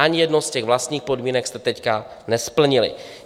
Ani jednu z těch vlastních podmínek jste teď nesplnili.